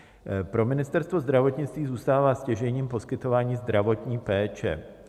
Pro Ministerstvo zdravotnictví zůstává stěžejním poskytování zdravotní péče.